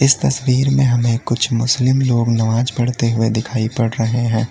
तस्वीर में हमें कुछ मुस्लिम लोग नमाज पढ़ते हुए दिखाई पड़ रहे हैं।